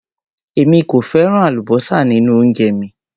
Èmi kò fẹ́ràn àlúbósà nínú oúnjẹ mi.